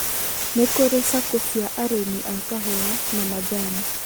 Nĩ kũrĩ SACCO cia arĩmi a kahũa na majani